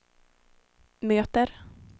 möter